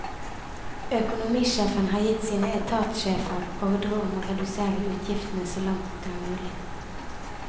Økonomisjefen har gitt sine etatssjefer ordre om å redusere utgiftene så langt det er mulig.